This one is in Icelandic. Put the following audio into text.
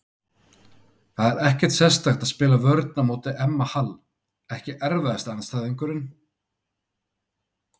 Það er ekkert sérstakt að spila vörn á móti Emma Hall Ekki erfiðasti andstæðingur?